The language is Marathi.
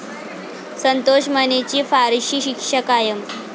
संतोष मानेची फाशीची शिक्षा कायम